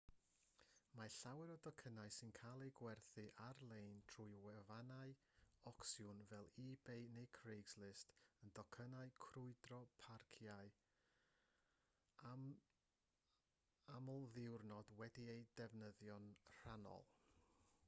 mae llawer o docynnau sy'n cael eu gwerthu ar-lein trwy wefannau ocsiwn fel ebay neu craigslist yn docynnau crwydro parciau amlddiwrnod wedi'u defnyddio'n rhannol